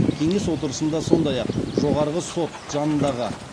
кеңес отырысында сондай ақ жоғарғы сот жанындағы